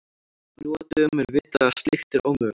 Nú á dögum er vitað að slíkt er ómögulegt.